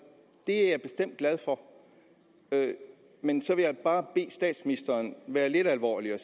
er jeg bestemt glad for men så vil jeg bare bede statsministeren være lidt alvorlig og